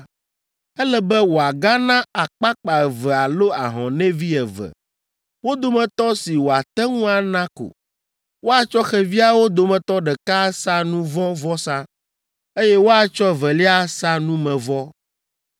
“Ele be wòagana akpakpa eve alo ahɔnɛvi eve, wo dometɔ si wòate ŋu ana ko. Woatsɔ xeviawo dometɔ ɖeka asa nu vɔ̃ vɔsa, eye woatsɔ evelia asa numevɔ.